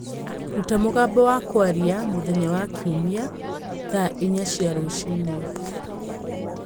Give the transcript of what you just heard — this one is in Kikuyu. rũta mũgambo wa kwaria mũthenya wa kiumia, thaa inya cia rũcinĩ